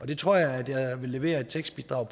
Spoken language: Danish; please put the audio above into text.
det tror jeg at jeg vil levere et tekstbidrag